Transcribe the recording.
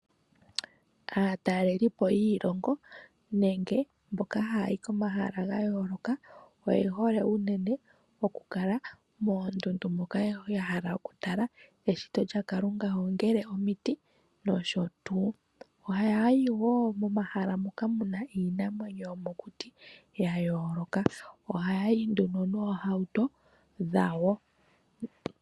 Aatalelipo yiilongo nenge mboka hayi yi komahala ga yooloka oye hole unene okukala moondundu moka ya hala okutala eshito lyaKalunga, ongele omiti nosho tuu. Ohaya yi wo momahala moka mu na iinamwenyo yomokuti ya yooloka. Ohaya yi nduno noohauto dhawo.